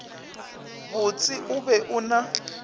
botse o be o na